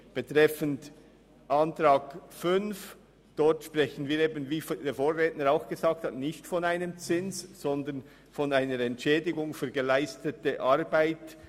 Beim Antrag 5 sprechen wir tatsächlich nicht von einem Zins, sondern von einer Entschädigung für geleistete Arbeit.